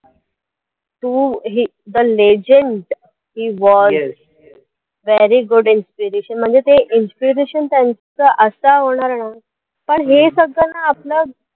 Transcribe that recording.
to हे the legend he war very good inspiration म्हणजे ते inspiration त्यांचं असं होणार ना पण हे सगळं ना आता